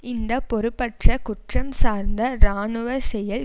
இந்த பொறுப்பற்ற குற்றம் சார்ந்த இராணுவ செயல்